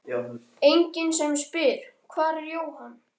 Enginn sem spyr: Hvar er Jóhann?